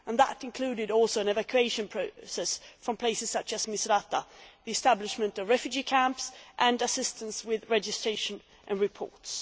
That also included an evacuation process from places such as Misratah, the establishment of refugee camps and assistance with registration and reports.